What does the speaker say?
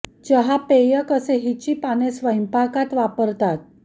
चहा पेय कसे हिची पाने स्वयंपाकात वापरतात सह